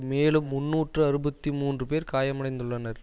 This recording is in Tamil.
மேலும் முன்னூற்று அறுபத்தி மூன்று பேர் காயமடைந்துள்ளனர்